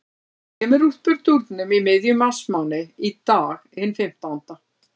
Það kemur uppúr dúrnum í miðjum marsmánuði, í dag, hinn fimmtánda.